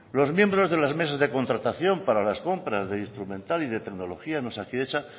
los miembros de las mesas de contratación para las compras de instrumental y de tecnología en osakidetza